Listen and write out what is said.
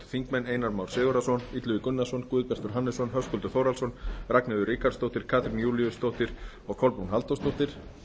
þingmaður einar már sigurðarson illugi gunnarsson guðbjartur hannesson höskuldur þórhallsson ragnheiður ríkharðsdóttir katrín júlíusdóttir og kolbrún halldórsdóttir